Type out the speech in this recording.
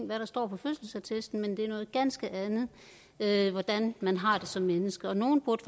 hvad der står på fødselsattesten men det er noget ganske andet hvordan man har det som menneske og nogle burde